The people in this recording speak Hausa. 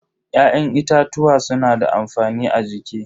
Ya'yan itatuwa suna da amfani a jiki.